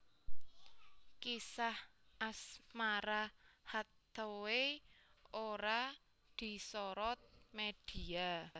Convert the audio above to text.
Kisah asmara Hathaway ora disorot media